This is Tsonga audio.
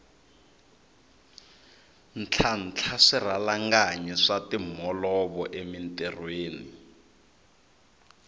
ntlhantlha swirhalanganyi swa timholovo emintirhweni